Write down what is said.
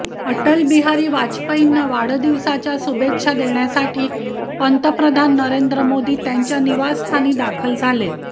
अटल बिहारी वाजपेयींना वाढदिवसाच्या शुभेच्छा देण्यासाठी पंतप्रधान नरेंद्र मोदी त्यांच्या निवासस्थानी दाखल झाले